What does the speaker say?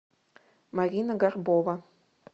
марина горбова